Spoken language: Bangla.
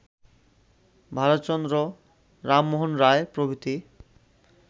ভারতচন্দ্র, রামমোহন রায়, প্রভৃতি